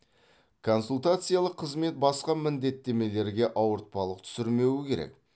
консультациялық қызмет басқа міндеттемелерге ауыртпалық түсірмеуі керек